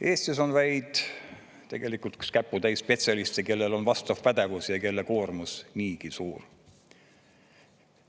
Eestis on vaid tegelikult üks käputäis spetsialiste, kellel on vastav pädevus ja kelle koormus niigi suur.